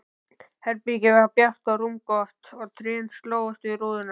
Herbergið var bjart og rúmgott og trén slógust við rúðuna.